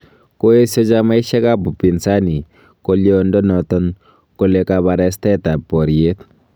Koesio chamaisiek ab Upinzani goliondonoton kole kabarastaet ab boriet.